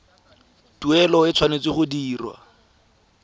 tuelo e tshwanetse go dirwa